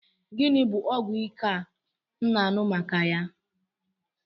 Gịnị bụ ọgwụ ike a m na-anụ maka ya?